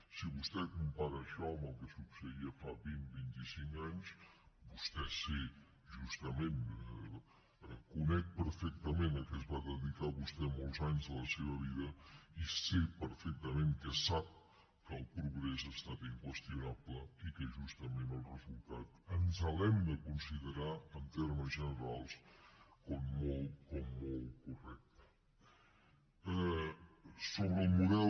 si vostè compara això amb el que succeïa fa vint vint i cinc anys vostè sé justament conec perfectament a què es va dedicar vostè molts anys de la seva vida i sé perfectament que sap que el progrés ha estat inqüestio nable i que justament el resultat ens l’hem de considerar en termes generals com molt correcte